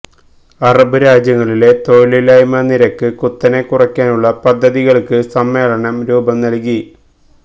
Arab രാജ്യങ്ങളിലെ തൊഴിലില്ലായ്മ നിരക്ക് കുത്തനെ കുറക്കാനുള്ള പദ്ധതികള്ക്ക് സമ്മേളനം രൂപം നല്കി